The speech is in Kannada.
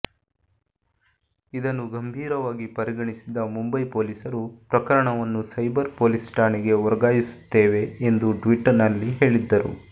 ಇದನ್ನು ಗಂಭೀರವಾಗಿ ಪರಿಗಣಿಸಿದ ಮುಂಬೈ ಪೊಲೀಸರು ಪ್ರಕರಣವನ್ನು ಸೈಬರ್ ಪೊಲೀಸ್ ಠಾಣೆಗೆ ವರ್ಗಾಯಿಸುತ್ತೇವೆ ಎಂದು ಟ್ವೀಟ್ನಲ್ಲಿ ಹೇಳಿದ್ದರು